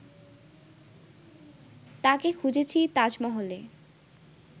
তাকে খুঁজেছি তাজমহলে